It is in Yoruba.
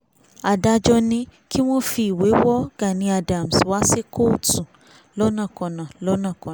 adájọ́ ní kí wọ́n fi ìwé wo gani adams wá sí kóòtù lọ́nàkọnà lọ́nàkọnà